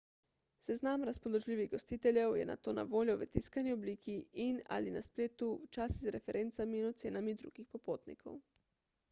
seznam razpoložljivih gostiteljev je nato na voljo v tiskani obliki in/ali na spletu včasih z referencami in ocenami drugih popotnikov